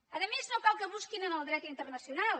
a més no cal que busquin en el dret internacional